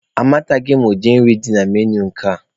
Amataghị m ụdi nri dị na menui nke a.